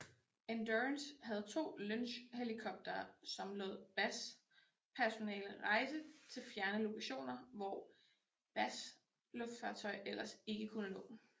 Endurance havde to Lynxhelikoptere som lod BAS personale rejse til fjerne lokationer hvor BAS luftfartøj ellers ikke kunne nå